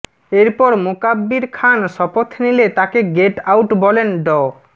এরপর মোকাব্বির খান শপথ নিলে তাকে গেট আউট বলেন ড